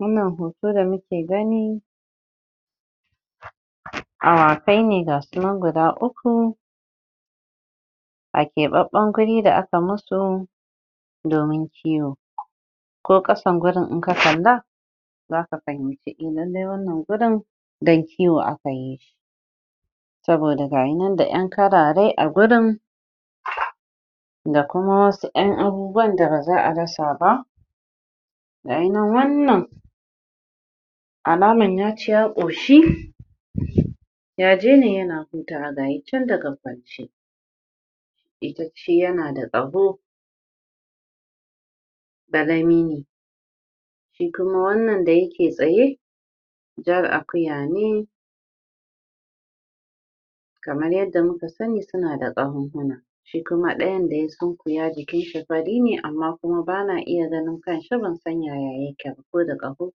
Wannan hoto da muke gani awakai ne ga su nan guda uku a keɓaɓɓan guri da a ka musu domin kiwo ko ƙasan gurin in ka kalla zaka fahimci eh lallai wannan gurin don kiwo akayi shi saboda gayi nan da ɗan karare agurin da kuma wasu ƴan abubuwan da ba za'a rasa ba gayi nan wannan alaman yaci ya ƙoshi yaje ne yana hutawa gayi chan daga kwance yanada ƙaho ƙarami ne shi kuma wannan da yake tsaye jar akuya ne kamar yadda muka muka sanni suna da ƙahonhuna shi kuma ɗayan dai chan iya jikin shi fari ne amma kuma bana iya ganin kanshi ban san yaya yake ba koda ƙaho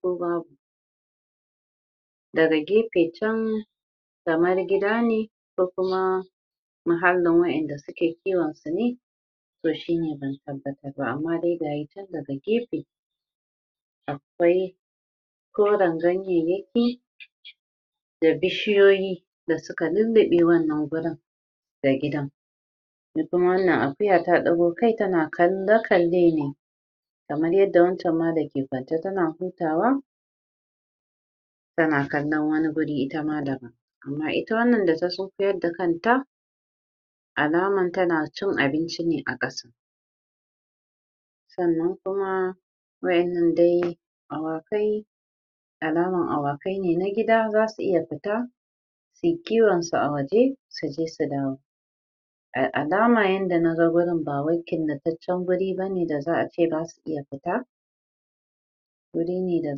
ko babu daga gefe chan kamar gida ne ko kuma muhallin wa'inda suke kiwon su ne toh shi ne ban tabbatar ba toh amma dai gayi chan daga gefe akwai koran ganyeyyaki da bishiyoyi da suka lulluɓe wannan gurin da gidan da kuma wannan abun akuya ta ɗago kai tana kalla-kalle ne kamar yadda wancan ma dake kwan kamar yadda wancan ma dake kwance tana hutawa tana kallon wani guri itama daban amma ita wannan da ta sunkuyar da kanta alaman tana cin abinci ne a ƙasa sannan kuma wa'innan dai awakai alaman awakai ne na gida zasu iya fita suyi kiwonsu a waje su je su dawo a alama yanda naga gurin ba wai killataccen guri bane da za'a ce zasu iya fita gurine da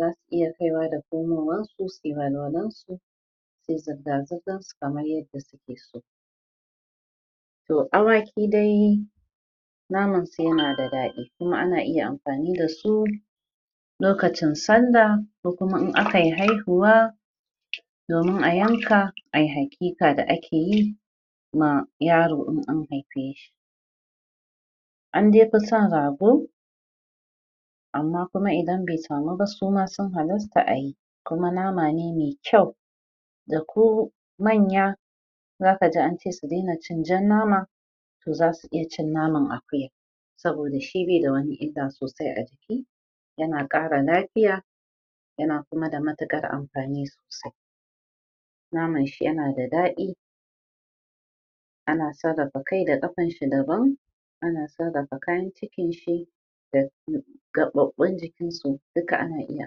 zasu iya kaiwa da komowa ko suyi walwalansu kamar yadda suke so toh awaki dai naman su yana da ɗadi kuma ana iya amfani dasu lokacin sallah ko kuma in akayi haihuwa domin a yanka ai hakika da akeyi ma yaro in an haife shi andai fi son rago amma kuma idan bai samu ba suma sun halasta ayi kuma nama ne mai kyau da ko manya zaka ji ance su daina cin jan nama toh zasu iya cin naman akuya saboda shi baida wani illa sosai a jiki yana ƙara lafiya yana kuma da matuƙar amfani sosai naman shi yanada daɗi ana sarrafa kai da ƙafan shi daban ana sarrafa kayan cikin shi gaɓaɓɓun jikinsu duka ana iya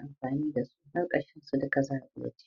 amfani dasu